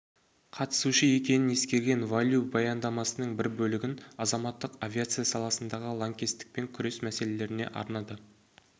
қатысушы екенін ескерген фан лю баяндамасының бір бөлігін азаматтық авиация саласындағы лаңкестікпен күрес мәселелеріне арнады